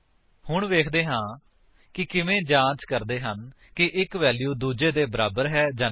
ਹੁਣ ਵੇਖਦੇ ਹਾਂ ਕਿ ਕਿਵੇਂ ਜਾਂਚ ਕਰਦੇ ਹਨ ਕਿ ਇੱਕ ਵੈਲਿਊ ਦੂੱਜੇ ਦੇ ਬਰਾਬਰ ਹੈ ਜਾਂ ਨਹੀਂ